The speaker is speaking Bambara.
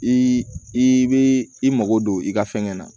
I i bɛ i mako don i ka fɛnkɛ na